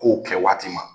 Kow kɛ waati ma